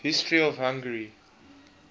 history of hungary